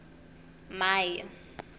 mai